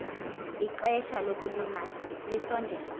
ixesha lokulima lisondele